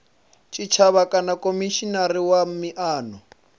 tshitshavha kana khomishinari wa miano